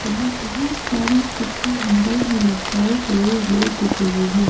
यहां बहुत सारे कपड़े हैंगर में लटकाए गए हुए दिख रहें हैं।